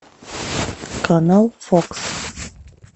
канал фокс